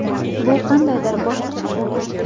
Bu qandaydir boshqacha tuyg‘u.